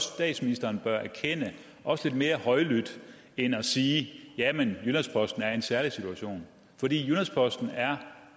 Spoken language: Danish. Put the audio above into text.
statsministeren bør erkende også lidt mere højlydt end at sige jamen jyllands posten er i en særlig situation for jyllands posten er